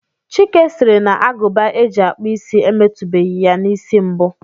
Chike sịrị na Agụba e ji akpụ isi emetubeghi ya n'isi mbụ